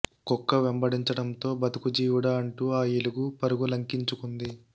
కుక్క వెంబడించడంతో బతుకు జీవుడా అంటూ ఆ ఎలుగు పరుగు లంకించుకుంది